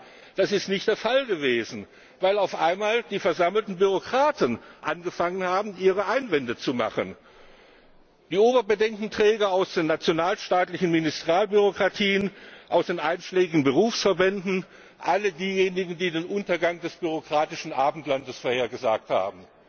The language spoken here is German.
Aber nein, das ist nicht der Fall gewesen, weil auf einmal die versammelten Bürokraten angefangen haben, ihre Einwände zu erheben. Die Oberbedenkenträger aus den nationalstaatlichen Ministerialbürokratien, aus den einschlägigen Berufsverbänden, alle diejenigen, die den Untergang des bürokratischen Abendlandes vorhergesagt haben,